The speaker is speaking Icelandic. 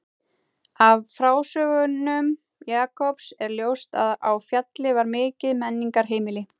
Af frásögnum Jakobs er ljóst að á Fjalli var mikið menningarheimili.